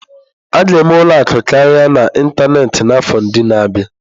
A ga-eme ụlọ akụ karịa n'ịntanetị n'afọ ndị na-abịa.